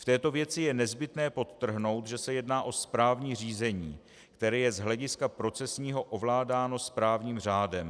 V této věci je nezbytné podtrhnout, že se jedná o správní řízení, které je z hlediska procesního ovládáno správním řádem.